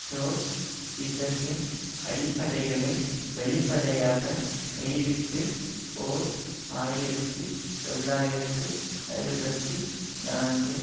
ட்ரொட்ஸ் கிசத்தின் அடிப்படைகளை வெளிப்படையாக கைவிட்டு ஓர் ஆயிரத்தி தொள்ளாயிரத்து அறுபத்தி நான்கில்